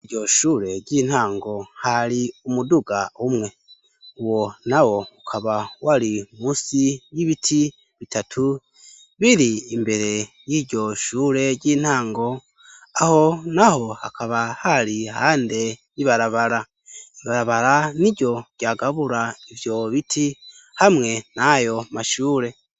Ikigo c' ishure gifis' ikibuga kinini cane kirimw' ibiti vyinshi, haruguru y amashure har' ibiti bibiri bifis' amasham' asanzaraye har' igitutu munsi yavyo har' imodoka zibiri, hepfo har' amashur' afis' uruzitiro rw' ivyuma bis' ubururu, harimwo n' ibikinisho vy' abana, inyuma yayo har' ibiti birebire bisumb' amashure.